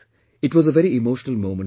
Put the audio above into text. It was a very emotional moment for me